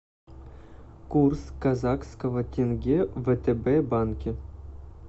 курс казахского тенге в втб банке